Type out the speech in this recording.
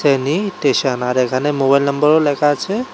Station আর এখানে mobile নাম্বারও লেখা আছে।